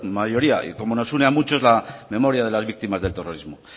mayoría como nos une a muchos la memoria de las víctimas del terrorismo